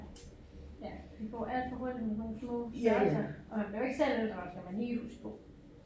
Ja det går alt for hurtigt med sådan nogle små størrelser og man bliver jo ikke selv ældre skal man lige huske på